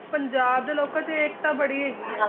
ਪੰਜਾਬ ਦੇ ਲੋਕਾਂ ਚ ਏਕਤਾ ਬੜੀ ਹੈਗੀ ਆ